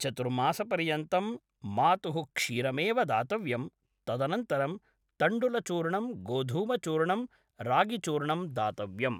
चतुर्मासपर्यन्तं मातुः क्षीरमेव दातव्यं तदनन्तरं तण्डुलचूर्णं गोधूमचुर्णं रागिचूर्णं दातव्यम्